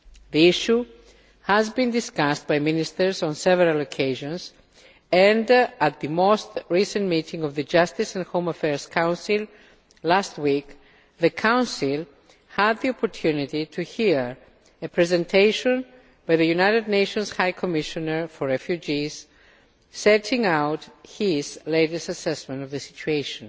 The issue has been discussed by ministers on several occasions, and at the most recent meeting of the Justice and Home Affairs Council last week the Council had the opportunity to hear a presentation from the United Nations High Commissioner for Refugees setting out his latest assessment of the situation.